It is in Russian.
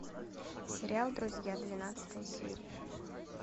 сериал друзья двенадцатая серия